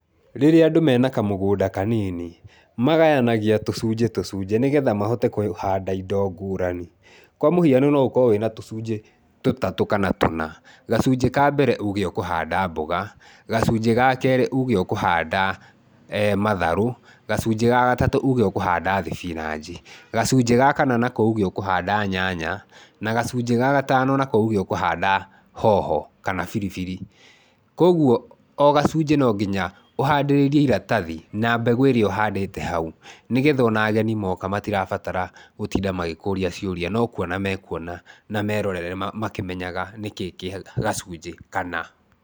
Rĩrĩa andũ mena kamũgũnda kanini ,magayanagia tũcunjĩ tũcunjĩ, nĩgetha mahote kũhanda indo ngũrani. Kwa mũhiano no ũkorwo wĩna tũcunjĩ tũtatũ kana tũna. Gacunjĩ ka mbere uge ũkuhanda mboga, gacunjĩ ga kerĩ uge ũkũhanda matharũ, gacunjĩ ga gatatũ, uge ũkũhanda thibinanji, gacunjĩ ga kana nako, uge ũkũhanda nyanya, na gacunjĩ ga gatano, uge ũkũhanda hoho kana biribiri. Kwoguo, o gacunjĩ no nginya ũhandĩrĩrie iratathi na mbegũ ĩrĩa ũhandĩte hau, nĩgetha o na ageni moka matirabatara gũtinda magĩkũũria ciũria. No kũona mekũona na meerorere makĩmenyaga nĩkĩĩ kĩ gacunjĩ kana.